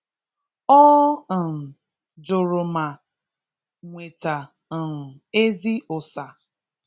Ọ um jụrụ ma nweta um ezi ụsa